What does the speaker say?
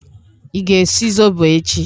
Ị ga-esi zobo echi?